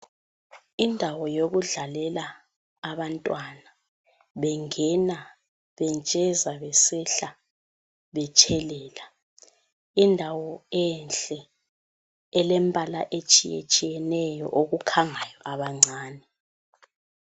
Indawo yokudlalela abantwana bengena bentsheza, besehla, betshelela. Indawo enhle elembala etshiyetshiyeneyo okukhangayo abancane.